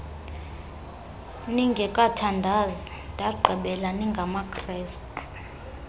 ningekathandazi ndagqibela ningamakrestu